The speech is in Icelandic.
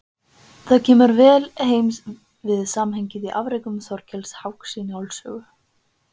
Það kemur vel heim við samhengið í afrekum Þorkels háks í Njáls sögu.